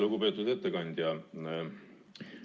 Lugupeetud ettekandja!